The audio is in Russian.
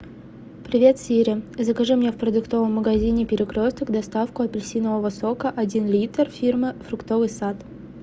привет сири закажи мне в продуктовом магазине перекресток доставку апельсинового сока один литр фирмы фруктовый сад